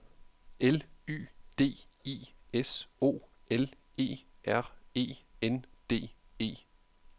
L Y D I S O L E R E N D E